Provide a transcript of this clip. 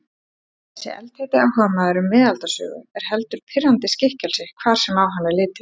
Þessi eldheiti áhugamaður um miðaldasögu er heldur pirrandi skikkelsi hvar sem á hann er litið.